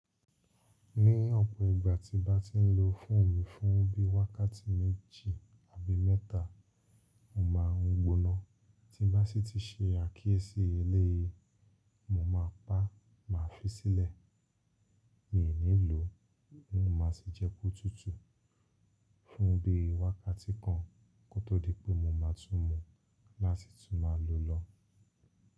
Ní ọ̀pọ̀ ìgbà tí n bá ti ń lo fóònù fún bí i wákàtí méjì àbí mẹ́ta, mó ma ń gbóná. Tí n bá sì ti ṣe àkíyèsí eléyìí, mó ma pá, má fi sílẹ̀. Mi ò ní lò ó, mó ma sì jẹ kó tútù fún bí i wákàtí kan kó tó di pé mó ma tún mú, láti tún má lo lọ́.